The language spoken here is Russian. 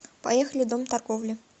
поехали дом торговли